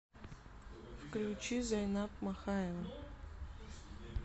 включи зайнаб махаева